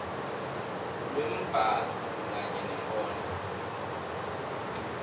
lwembhalo kanye nenkondlo